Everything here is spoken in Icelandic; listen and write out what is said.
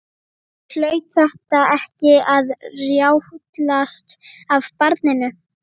Hlaut þetta ekki að rjátlast af barninu?